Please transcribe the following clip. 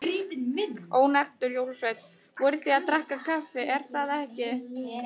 Ónefndur jólasveinn: Voruð þið að drekka kaffi, er það ekki?